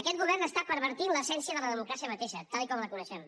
aquest govern està pervertint l’essència de la democràcia mateixa tal com la coneixem